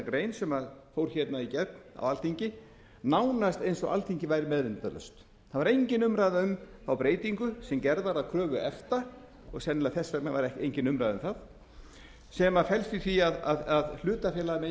grein sem fór í gegn á alþingi nánast eins og alþingi væri meðvitundarlaust það var engin umræða um þá breytingu sem gerð var að kröfu efta og sennilega var þess vegna engin umræða um það sem felst í því að hlutafélag megi